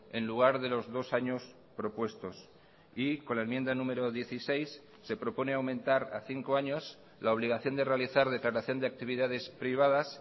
en lugar de los dos años propuestos y con la enmienda número dieciséis se propone aumentar a cinco años la obligación de realizar declaración de actividades privadas